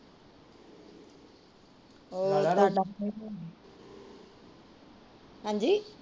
ਹਾਂਜੀ